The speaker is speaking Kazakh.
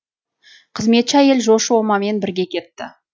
қызметші әйел жошы омамен бірге кетті